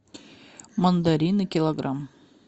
мандарины килограмм